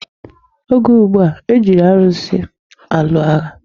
Oge gboo, e ji arusi alụ agha.